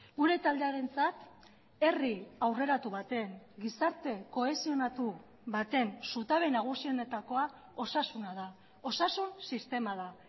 gure taldearentzat herri aurreratu baten gizarte kohesionatu baten zutabe nagusienetakoa osasuna da osasun sistema da